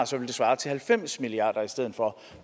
så vil det svare til halvfems milliard kroner i stedet for